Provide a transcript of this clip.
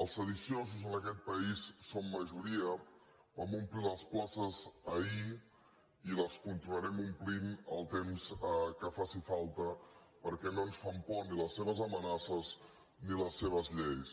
els sediciosos en aquest país som majoria vam omplir les places ahir i les continuarem omplint el temps que faci falta perquè no ens fan por ni les seves amenaces ni les seves lleis